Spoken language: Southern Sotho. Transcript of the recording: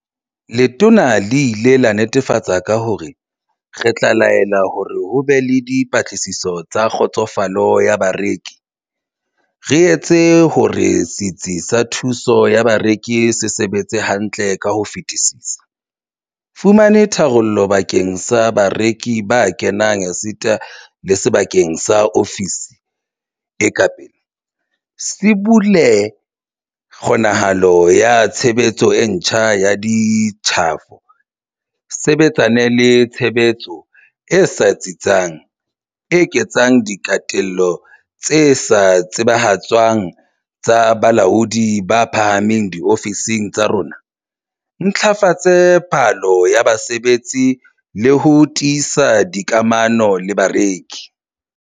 Letona le ile la nnetefatsa ka hore, "Re tla laela hore ho be le dipatlisiso tsa kgotsofalo ya bareki, re etse hore setsi sa thuso ya bareki se sebetse hantle ka ho fetisisa, fumane tharollo bakeng sa bareki ba kenang esita le sebaka sa ofisi e ka pele, sibolle kgonahalo ya tshebetso e ntjha ya ditjhafo, sebetsane le tshebetso e sa tsitsang, eketsa diketelo tse sa tsebahatswang tsa balaodi ba phahameng diofising tsa rona, ntlafatse phallo ya mosebetsi le ho tiisa dikamano le bareki."